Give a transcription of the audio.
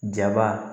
Jaba